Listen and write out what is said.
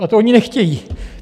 A to oni nechtějí!